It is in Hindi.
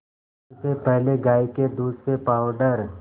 इससे पहले गाय के दूध से पावडर